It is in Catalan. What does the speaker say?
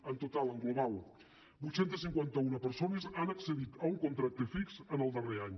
en total en global vuit cents i cinquanta un persones han accedit a un contracte fix en el darrer any